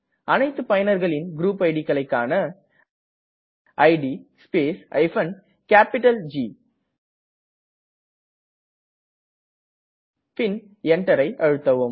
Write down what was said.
அனைத்து பயனர்களின் க்ருப் idக்களை காண இட் ஸ்பேஸ் ஜி பின் Enter கீயை அழுத்தவும்